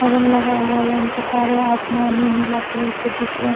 और लगा हुआ लाइन के तार है | आसमान इ नीला कलर के दिख रहे --